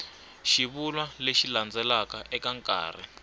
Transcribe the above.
xivulwa lexi landzelaka eka nkarhi